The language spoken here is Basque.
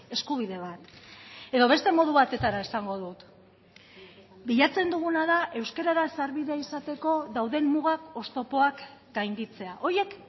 eskubide bat edo beste modu batetara esango dut bilatzen duguna da euskarara sarbidea izateko dauden mugak oztopoak gainditzea horiek